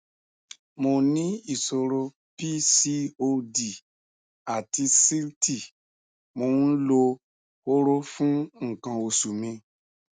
mo ní ìṣòro pcod àti síìtì mò ń lo hóró fún nǹkan oṣù mi